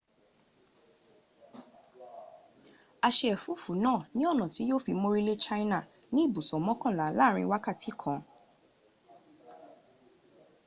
a se efufu naa ni ona ti yio fi morile china ni ibuso mokanla laarin wakati kan